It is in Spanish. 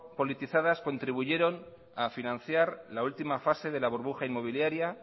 politizadas contribuyeron a financiar la última fase de la burbuja inmobiliaria